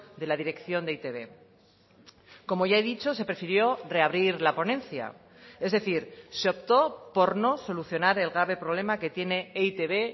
de la dirección de e i te be como ya he dicho se prefirió reabrir la ponencia es decir se optó por no solucionar el grave problema que tiene e i te be